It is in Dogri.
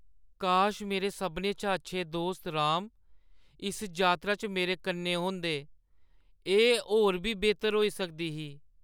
काश मेरे सभनें शा अच्छे दोस्त, राम, इस यात्रा च मेरे कन्नै होंदे। एह् होर बी बेह्‌तर होई सकदा ही।